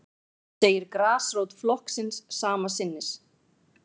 Hann segir grasrót flokksins sama sinnis